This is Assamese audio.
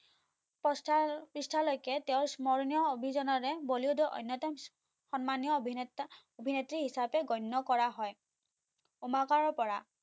পৃষ্ঠা লৈকে তেও স্মৰণীয় অভিযানেৰে বলিউডৰ অন্যতম সন্মানীয় অভিনেতা অভিনেত্ৰী হিচাপে গণ্য কৰা হয় উমাকৰ পৰা